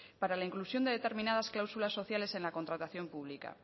para la inclusión de determinadas cláusulas sociales en la contratación pública